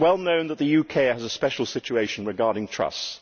It is well known that the UK has a special situation regarding trusts.